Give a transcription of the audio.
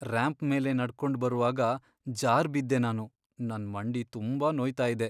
Ramp ಮೇಲೆ ನಡ್ಕೊಂಡ್ ಬರುವಾಗ ಜಾರ್ಬಿದ್ದೆ ನಾನು. ನನ್ ಮಂಡಿ ತುಂಬಾ ನೋಯ್ತಾ ಇದೆ.